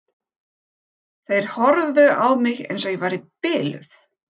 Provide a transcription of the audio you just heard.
Þeir horfðu á mig eins og ég væri biluð.